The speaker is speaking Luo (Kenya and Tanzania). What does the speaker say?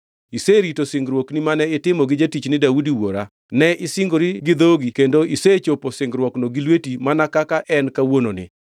Iserito singruokni mane itimo gi jatichni Daudi wuora ne isingori gi dhogi kendo isechopo singruokno gi lweti mana kaka en kawuononi.